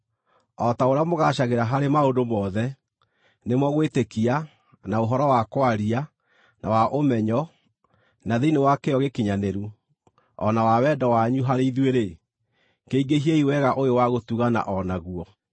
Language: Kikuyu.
O ta ũrĩa mũgaacagĩra harĩ maũndũ mothe, nĩmo gwĩtĩkia, na ũhoro wa kwaria, na wa ũmenyo, na thĩinĩ wa kĩyo gĩkinyanĩru, o na wa wendo wanyu harĩ ithuĩ-rĩ, kĩingĩhiei wega ũyũ wa gũtugana o naguo.